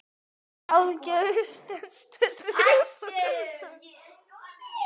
Hver á heima þarna?